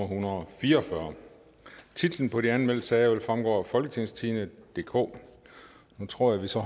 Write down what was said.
hundrede og fire og fyrre titler på de anmeldte sager vil fremgå af folketingstidende DK nu tror jeg så